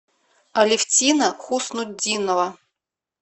алевтина хуснутдинова